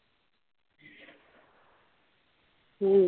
हम्म